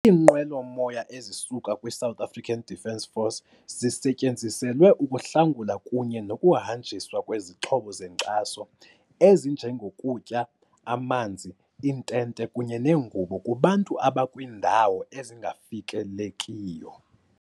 "Iinqwelo-moya ezisuka kwi-South African Defence Force zisetyenziselwe ukuhlangula kunye nokuhanjiswa kwezixhobo zenkxaso - ezinjengokutya, amanzi, iintente kunye neengubo - kubantu abakwiindawo ezingafikelekiyo."